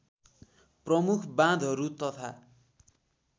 प्रमुख बाँधहरू तथा